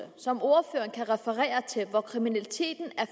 som ordføreren kan referere til hvor kriminaliteten er